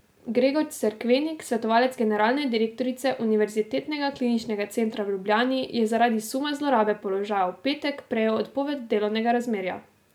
Gregor Cerkvenik, svetovalec generalne direktorice Univerzitetnega kliničnega centra v Ljubljani, je zaradi suma zlorabe položaja v petek prejel odpoved delovnega razmerja.